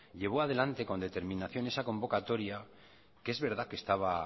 llevó adelante con determinación esa convocatoria que es verdad que estaba